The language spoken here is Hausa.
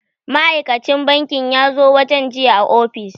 Ma'aikan ci banki yazo wajen jiya a ofis